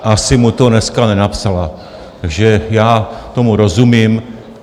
Asi mu to dneska nenapsala, takže já tomu rozumím.